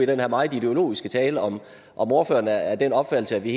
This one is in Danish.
den her meget ideologiske tale om ordføreren er af den opfattelse at vi